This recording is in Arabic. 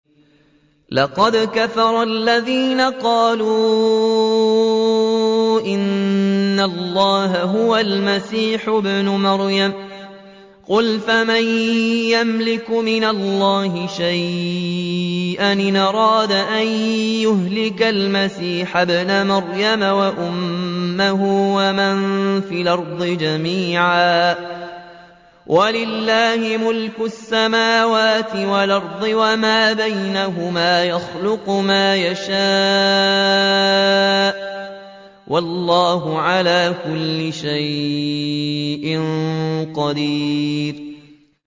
لَّقَدْ كَفَرَ الَّذِينَ قَالُوا إِنَّ اللَّهَ هُوَ الْمَسِيحُ ابْنُ مَرْيَمَ ۚ قُلْ فَمَن يَمْلِكُ مِنَ اللَّهِ شَيْئًا إِنْ أَرَادَ أَن يُهْلِكَ الْمَسِيحَ ابْنَ مَرْيَمَ وَأُمَّهُ وَمَن فِي الْأَرْضِ جَمِيعًا ۗ وَلِلَّهِ مُلْكُ السَّمَاوَاتِ وَالْأَرْضِ وَمَا بَيْنَهُمَا ۚ يَخْلُقُ مَا يَشَاءُ ۚ وَاللَّهُ عَلَىٰ كُلِّ شَيْءٍ قَدِيرٌ